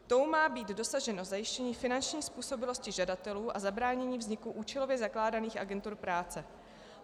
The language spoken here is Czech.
Tou má být dosaženo zajištění finanční způsobilosti žadatelů a zabránění vzniku účelově zakládaných agentur práce.